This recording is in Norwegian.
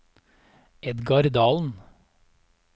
Edgar Dahlen